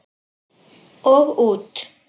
Og út.